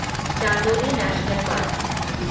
Chandoli national park